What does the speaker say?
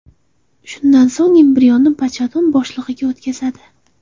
Shundan so‘ng embrionni bachadon bo‘shlig‘iga o‘tkazishadi.